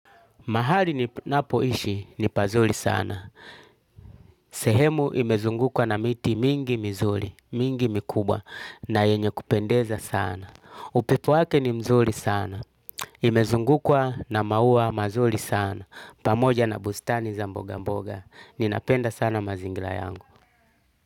Mahali ninapoishi ni pazuri sana. Sehemu imezungukwa na miti mingi mizuri, mingi mikubwa na yenye kupendeza sana. Upepo wake ni mzuri sana. Imezungukwa na maua mazuri sana. Pamoja na bustani za mboga mboga. Ninapenda sana mazingira yangu.